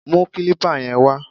Mú kílípà yẹn wá!